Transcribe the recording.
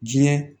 Diɲɛ